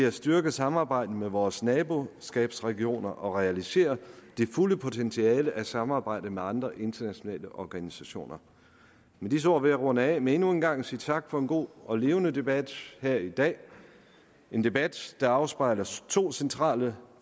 at styrke samarbejdet med vores naboskabsregioner og realisere det fulde potentiale af samarbejdet med andre internationale organisationer med disse ord vil jeg runde af med endnu en gang at sige tak for en god og levende debat her i dag en debat der afspejler to centrale